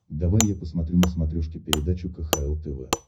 давай я посмотрю на смотрешке передачу кхл тв